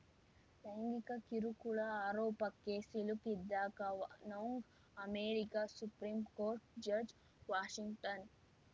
ಲೈಂಗಿಕ ಕಿರುಕುಳ ಆರೋಪಕ್ಕೆ ಸಿಲುಕಿದ್ದ Kavanaugh America supreme court judge Washington